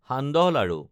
সান্দহ লাড়ু